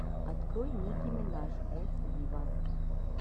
открой ники минаж эт виво